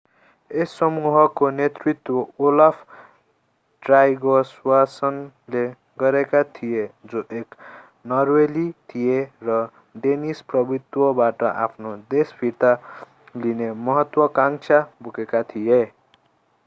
यस समूहको नेतृत्व ओलाफ ट्राइगवासनले गरेका थिए जो एक नर्वेली थिए र डेनिस प्रभुत्वबाट आफ्नो देश फिर्ता लिने महत्त्वकांक्षा बोकेका थिए